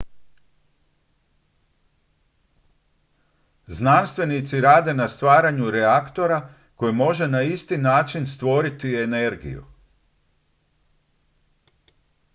znanstvenici rade na stvaranju reaktora koji može na isti način stvoriti energiju